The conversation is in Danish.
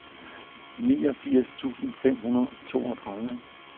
niogfirs tusind fem hundrede og toogtredive